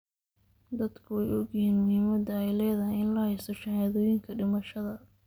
Dadku way ogyihiin muhiimadda ay leedahay in la haysto shahaadooyinka dhimashada.